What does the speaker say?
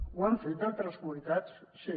ho han fet altres comunitats sí